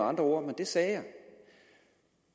andre ord men det sagde jeg